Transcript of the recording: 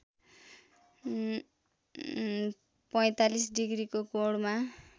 ४५ डिग्रीको कोणमा